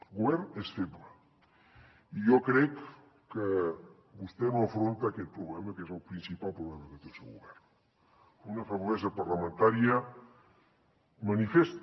el govern és feble i jo crec que vostè no afronta aquest problema que és el principal problema que té el seu govern una feblesa parlamentària manifesta